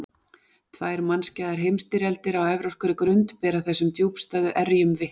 Tvær mannskæðar heimsstyrjaldir á evrópskri grund bera þessum djúpstæðu erjum vitni.